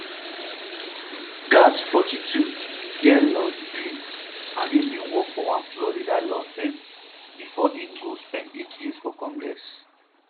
gaetz forty-two get law degree um and bin work for one florida law um firm bifor im go spend eight years for congress